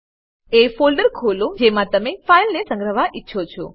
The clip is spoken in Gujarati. એ ફોલ્ડર ખોલો જેમાં તમે ફાઈલને સંગ્રહવા ઈચ્છો છો